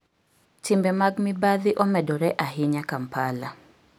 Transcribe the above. Timbe mag mibadhi omedore ahinya Kampala